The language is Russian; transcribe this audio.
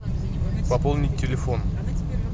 пополнить телефон